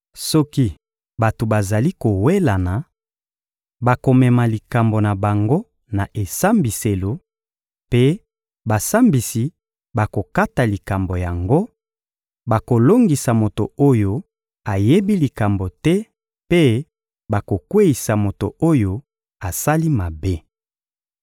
Soki bato bazali kowelana, bakomema likambo na bango na esambiselo, mpe basambisi bakokata likambo yango: bakolongisa moto oyo ayebi likambo te mpe bakokweyisa moto oyo asali mabe.